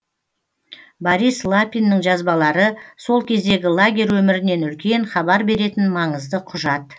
борис лапиннің жазбалары сол кездегі лагерь өмірінен үлкен хабар беретін маңызды құжат